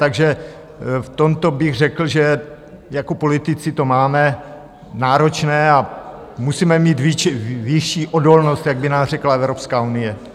Takže v tomto bych řekl, že jako politici to máme náročné a musíme mít vyšší odolnost, jak by nám řekla Evropská unie.